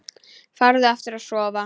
Farðu aftur að sofa.